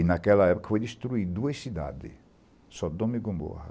E, naquela época, foram destruídas duas cidades, Sodoma e Gomborra.